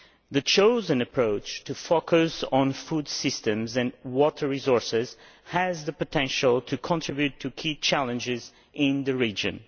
The chosen approach of focusing on food systems and water resources has the potential to contribute to addressing key challenges in the region.